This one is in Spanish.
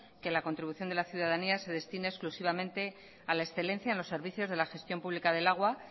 que la contribución de la ciudadanía se destine exclusivamente a la excelencia en los servicios de la gestión pública del agua